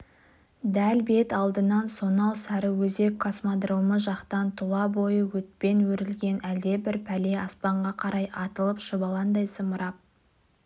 дәл бет алдынан сонау сарыөзек космодромы жақтан тұла бойы отпен өрілген әлдебір пәле аспанға қарай атылып шұбалаңдай зымырап